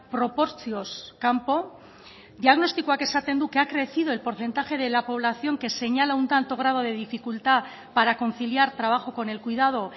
proportzioz kanpo diagnostikoak esaten du que ha crecido el porcentaje de la población que señala un tanto grado de dificultad para conciliar trabajo con el cuidado